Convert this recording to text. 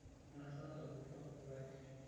Einosa olkurto ilpayek.